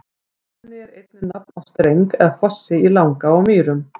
Glanni er einnig nafn á streng eða fossi í Langá á Mýrum.